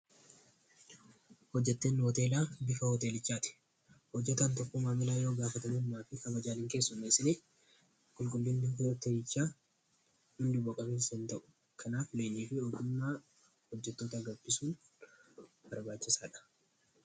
hojjeteenni hooteelaa bika hooteelichaa ti hojjatan tokko maamila yoo gaafatamuulmaa fi kabajaaliin keessunnasini qulqullinni teichaa hindu baqamaain ta'u kanaaf lenii fi odumnaa hojjetoota agabthisuun barbaachisaa dha